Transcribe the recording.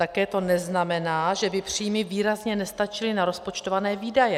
Také to neznamená, že by příjmy výrazně nestačily na rozpočtované výdaje.